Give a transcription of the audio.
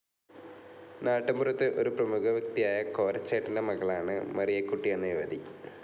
നാട്ടുമ്പുറത്തെ ഒരു പ്രമുഖവ്യക്തിയായ കോരച്ചേട്ടന്റെ മകളാണ് മറിയക്കുട്ടി എന്ന യുവതി.